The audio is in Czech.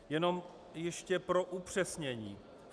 Jenom ještě pro upřesnění.